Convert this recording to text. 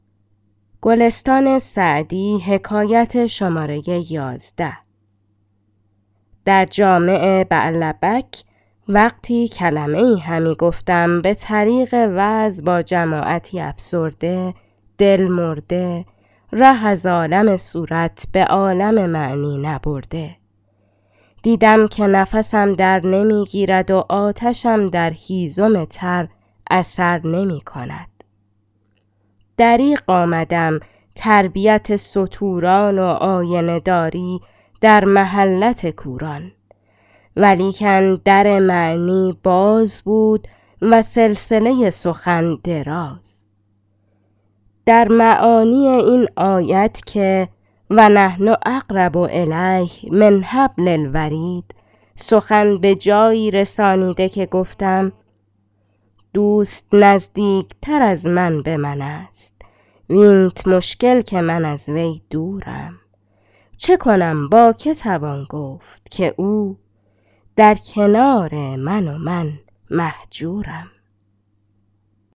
در جامع بعلبک وقتی کلمه ای همی گفتم به طریق وعظ با جماعتی افسرده دل مرده ره از عالم صورت به عالم معنی نبرده دیدم که نفسم در نمی گیرد و آتشم در هیزم تر اثر نمی کند دریغ آمدم تربیت ستوران و آینه داری در محلت کوران ولیکن در معنی باز بود و سلسله سخن دراز در معانی این آیت که و نحن اقرب الیه من حبل الورید سخن به جایی رسانیده که گفتم دوست نزدیکتر از من به من است وینت مشکل که من از وی دورم چه کنم با که توان گفت که او در کنار من و من مهجورم من از شراب این سخن مست و فضاله قدح در دست که رونده ای بر کنار مجلس گذر کرد و دور آخر در او اثر کرد و نعره ای زد که دیگران به موافقت او در خروش آمدند و خامان مجلس به جوش گفتم ای سبحان الله دوران باخبر در حضور و نزدیکان بی بصر دور فهم سخن چون نکند مستمع قوت طبع از متکلم مجوی فسحت میدان ارادت بیار تا بزند مرد سخنگوی گوی